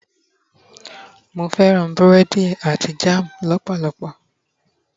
mo fẹràn burẹdi ati jan lọpọlọpọ